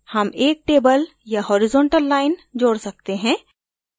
हम एक table या horizontal line जोड सकते हैं